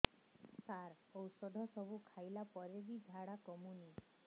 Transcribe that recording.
ସାର ଔଷଧ ସବୁ ଖାଇଲା ପରେ ବି ଝାଡା କମୁନି